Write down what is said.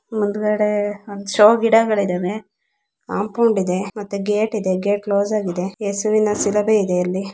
ಮುಂದೆಗಡೆ ಒಂದು ಶೋ ಗಿಡಗಳು ಇದ್ದಾವೆ ಕಾಂಪೋಡೆ ಗೇಟ್ ಇದೆ ಮತ್ತೆ ಗೇಟ್ ಕ್ಲೋಸ್ ಕ್ಲೋಸ್ ಆಗಿದೆ ಕೆಸರಿನ ಶಿರಬೆ ಇದೆ ಅಲ್ಲಿ.